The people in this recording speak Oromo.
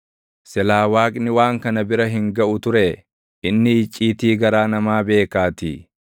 silaa Waaqni waan kana bira hin gaʼu turee? Inni icciitii garaa namaa beekaatii.